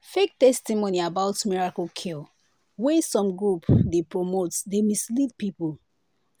fake testimony about miracle cure wey some group dey promote dey mislead people